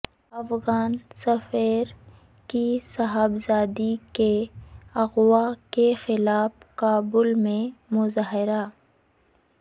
افغان سفیر کی صاحبزادی کے اغوا کے خلاف کابل میں مظاہرہ